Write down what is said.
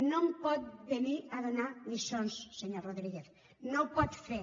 no em pot venir a donar lliçons senyor rodríguez no ho pot fer